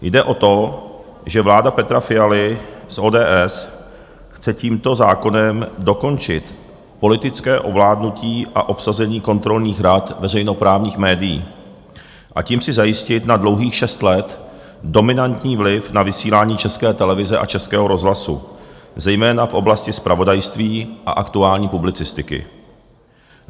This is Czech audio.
Jde o to, že vláda Petra Fialy z ODS chce tímto zákonem dokončit politické ovládnutí a obsazení kontrolních rad veřejnoprávních médií, a tím si zajistit na dlouhých šest let dominantní vliv na vysílání České televize a Českého rozhlasu zejména v oblasti zpravodajství a aktuální publicistiky.